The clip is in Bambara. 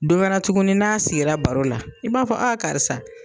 Don wɛrɛ tuguni n'a' sigira baro la i b'a fɔ a karisa.